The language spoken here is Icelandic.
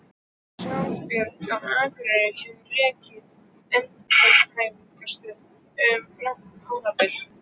Sjálfsbjörg á Akureyri hefur rekið endurhæfingarstöð um langt árabil.